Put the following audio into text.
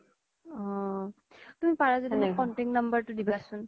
অ তুমি পাৰা যদি contact number তো দিবাছোন